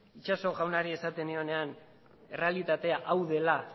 itxaso jaunari esaten nionean errealitatea hau dela